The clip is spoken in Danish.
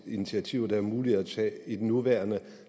initiativer der er mulige at tage i den nuværende